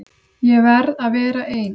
Ég verð að vera ein.